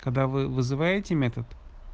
когда вы вызываете метод